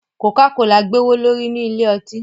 coca-cola gbe owole ri ní Ilé-ọtí.